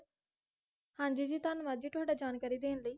ਹਾਂਜੀ ਜੀ ਧੰਨਵਾਦ ਜੀ ਤੁਹਾਡਾ ਜਾਣਕਾਰੀ ਦੇਣ ਲਈ